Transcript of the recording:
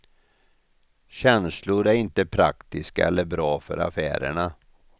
Känslor är inte praktiska eller bra för affärerna.